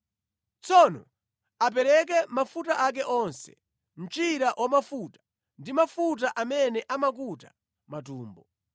Tsono apereke mafuta ake onse: mchira wamafuta ndi mafuta amene amakuta matumbo.